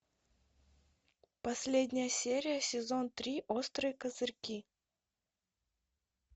последняя серия сезон три острые козырьки